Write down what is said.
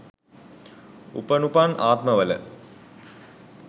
උපනුපන් ආත්ම වල